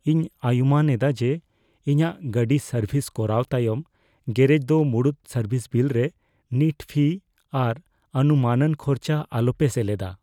ᱤᱧ ᱟᱭᱩᱢᱟᱹᱱ ᱮᱫᱟ ᱡᱮ, ᱤᱧᱟᱹᱜ ᱜᱟᱹᱰᱤ ᱥᱟᱨᱵᱷᱤᱥ ᱠᱚᱨᱟᱣ ᱛᱟᱭᱚᱢ ᱜᱮᱨᱮᱡ ᱫᱚ ᱢᱩᱲᱩᱫ ᱥᱟᱨᱵᱷᱤᱥ ᱵᱤᱞ ᱨᱮ ᱱᱤᱴ ᱯᱷᱤᱭ ᱟᱨ ᱚᱱᱩᱢᱟᱹᱱᱟᱱ ᱠᱷᱚᱨᱪᱟ ᱟᱞᱚᱯᱮ ᱥᱮᱞᱮᱫᱟ ᱾